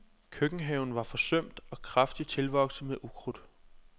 Køkkenhaven var forsømt og kraftigt tilvokset med ukrudt.